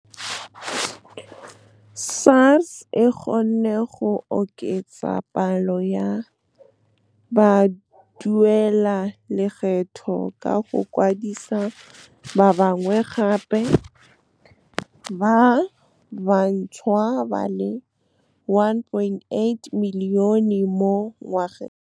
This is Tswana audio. SARS e kgonne go oketsa palo ya baduelalekgetho ka go kwadisa ba bangwe gape ba bantšhwa ba le 1.8 milione mo ngwageng. SARS e kgonne go oketsa palo ya baduelalekgetho ka go kwadisa ba bangwe gape ba bantšhwa ba le 1.8 milione mo ngwageng.